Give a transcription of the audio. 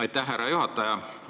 Aitäh, härra juhataja!